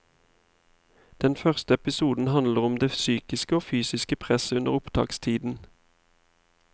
Den første episoden handler om det psykiske og fysiske presset under opptakstiden.